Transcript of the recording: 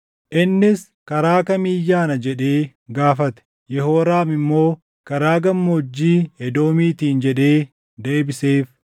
Innis, “Karaa kamiin yaana?” jedhee gaafate. Yehooraam immoo, “Karaa Gammoojjii Edoomiitiin” jedhee deebiseef.